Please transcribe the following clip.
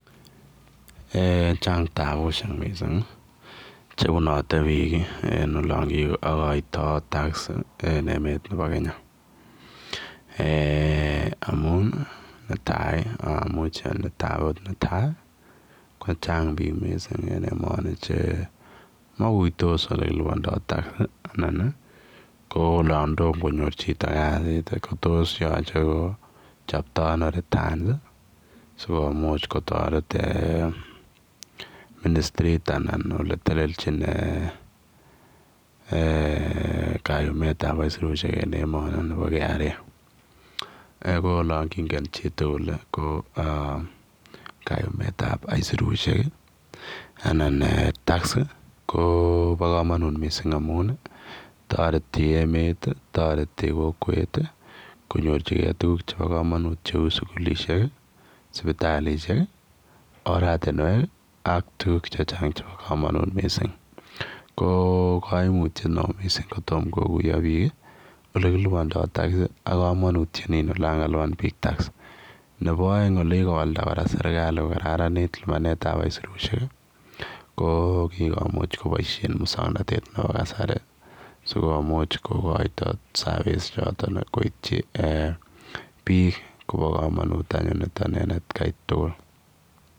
Eeh chaang tabusiek chebunate biik en kagotaet ab [tax] en emeet ab Kenya amuun netai ii amuchei ale netai ii ko chaang biik missing en emani che makuitos ole kilupandaa [tax] anan ko olaan tomah konyoor chitoo kasiit ko tos ko yachei kochaap taa ano [returns] ii sikomuuch kotaret ministriit anan ole teleljiin kayumeet ab aisirusiek nebo [Kenya revenue authority] eeh olaan kongeen chiii tugul ko kayumet ab aisirusiek ii anan tax kobaa kamanut missing amuun taretii emeet ii taretii kokwet ii konyoorjigei tuguuk chebo kamanut che uu sugulisheek ii sipitalishek ii oratinweek ii ak tuguuk che chaang chebo kamanut missing ko kaimutiet missing korom konyoor biik ole kilubanda [tax] ak kamanutiet ne lupaneet ab tax nebo aeng ko kikomuuch kobaisheen musangnatet ab kasari sikomuuch kokoitoi service ichotoon koityi eeh biik kobaa kamanuut nitoon anyuun en at kai tugul.